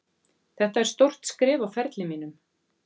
Þetta er stórt skref á ferli mínum,